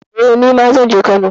Eh, nima zan je Kano.